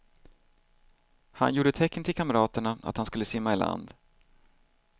Han gjorde tecken till kamraterna att han skulle simma i land.